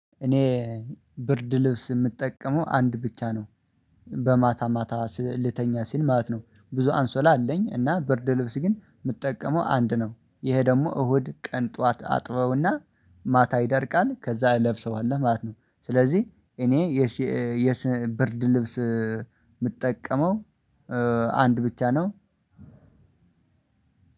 እኔ ብርድ ልብስ የምጠቀመው አንድ ብቻ ነው። በማታ ማታ ልተኛ ሲል ማለት ነው ብዙ አንሶላ አለኝ እና ብርድ ልብስ ግን የምጠቀመው አንድ ነው። ይሄ ደግሞ እሁድ ቀን ጠዋት አጥበውና ማታ ይደርቃል ከዛ እለብሰዋለሁ ማለት ነው። ስለዚህ እኔ የስ የስ ብርድ ልብስ የምጠቀመው አንድ ብቻ ነው።